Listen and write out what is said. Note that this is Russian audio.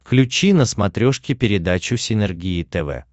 включи на смотрешке передачу синергия тв